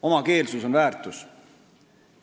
Omakeelsus on väärtus.